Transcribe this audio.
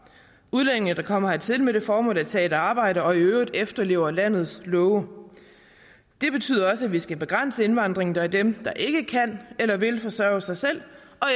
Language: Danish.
udlændinge der kommer hertil med det formål at tage et arbejde og i øvrigt efterlever landets love det betyder også at vi skal begrænse indvandringen af dem der ikke kan eller vil forsørge sig selv